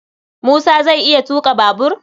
Musa zai iya tuƙa babur